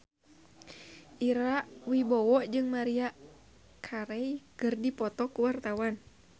Ira Wibowo jeung Maria Carey keur dipoto ku wartawan